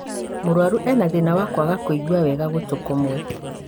Mũrwaru ena thĩna wa kwaga kũigua wega gũtũ kũmwe